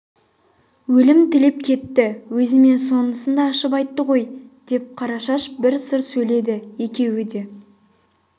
өлім тілеп кетті өзіме сонысын да ашып айтты ғой деп қарашаш бір сыр сөйледі екеуі де